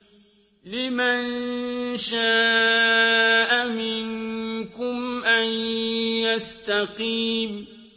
لِمَن شَاءَ مِنكُمْ أَن يَسْتَقِيمَ